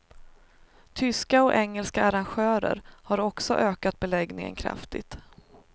Tyska och engelska arrangörer har också ökat beläggningen kraftigt.